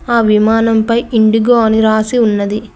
ఆ విమానంపై ఇండిగో అని రాసి ఉన్నది.